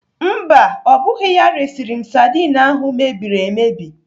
Mba, ọ bụghị ya resịrị m sadin ahụ mebiri emebi.